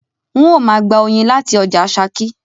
N o ma gba oyin láti ojà Sakí